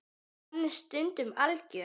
Hann er stundum algjör.